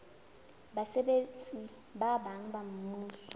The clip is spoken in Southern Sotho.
basebetsi ba bang ba mmuso